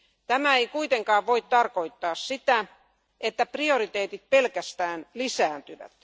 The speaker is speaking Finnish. Tämä ei kuitenkaan voi tarkoittaa sitä, että prioriteetit pelkästään lisääntyvät.